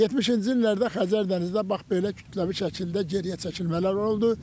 70-ci illərdə Xəzər dənizdə bax belə kütləvi şəkildə geriyə çəkilmələr oldu.